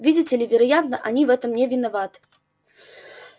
видите ли вероятно они в этом не виноват